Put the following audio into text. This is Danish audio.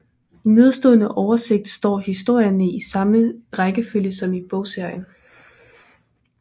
I nedenstående oversigt står historierne i samme rækkefølge som i bogserien